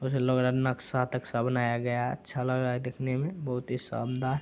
कुछ लग रहा है नक्शा-तक्शा बनाया गया है अच्छा लग रहा है देखने में बहुत ही शानदार --